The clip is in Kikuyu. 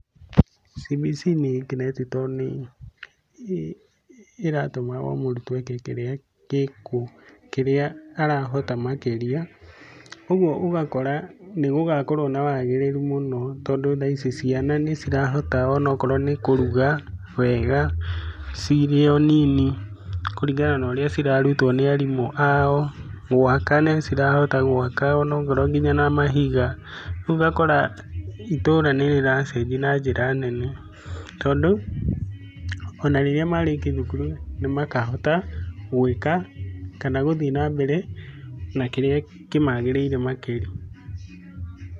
CBC nĩ ĩngenetie tondũ nĩ iratuma o mũrutwo eke kĩrĩa arahota makĩria ũguo ũgakora ni gũgakorwo na wagĩrĩru mũno tondũ thaa ici ciana nĩ cirahota onakorwo nĩ kũruga wega cirĩ o nini, kũringana na ũrĩa cirarutwo nĩ arimũ ao. Gwaka nĩ cirahota gwaka onakorwo nginya na mahiga ũguo ũgakora itũra nĩrĩracenjia na njĩra nene tondũ, ona rĩrĩa marĩkia thukuru nĩ makahota gwĩka kana gũthiĩ na mbere na kĩrĩa kĩmagĩrĩire makĩria.